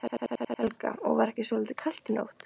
Helga: Og var ekki svolítið kalt í nótt?